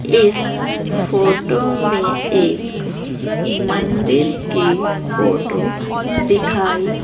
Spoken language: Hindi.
इस फोटो में एक मंदिर की फोटो दिखाई--